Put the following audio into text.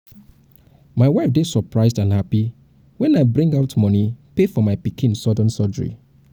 my wife dey surprised and happy wen i bring bring out money pay for my pikin sudden surgery